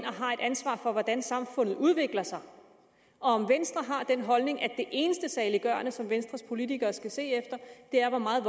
ansvar for hvordan samfundet udvikler sig og om venstre har den holdning at det eneste saliggørende som venstres politikere skal se efter er hvor meget